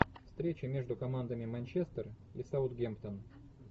встреча между командами манчестер и саутгемптон